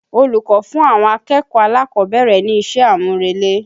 Olùkọ́ fún àwọn akẹ̀kọ̀ọ́ alákọ̀ọ́bẹ̀rẹ̀ ní iṣẹ́ àmúrelé.